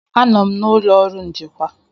Anọ m n'ụlọ ọrụ njikwa.